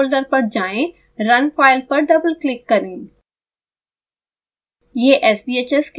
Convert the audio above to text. proportional folder पर जाएँ run file पर डबलक्लिक करें